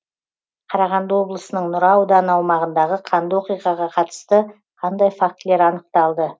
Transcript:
қарағанды облысының нұра ауданы аумағындағы қанды оқиғаға қатысты қандай фактілер анықталды